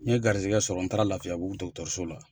N ye garizɛgɛ sɔrɔ n taara Lafiya bugu so la.